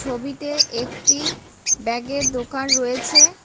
ছবিতে একটি ব্যাগ -এর দোকান রয়েছে।